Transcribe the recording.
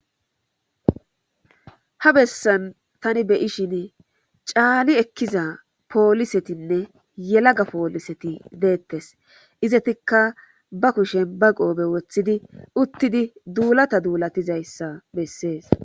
Ha bessan tani beyishin caali ekkiza poolisetinne yelaga pooliseti deettes izatikka ba kushen ba qoobe woththidi uttidi duulata duulatizayssa bessees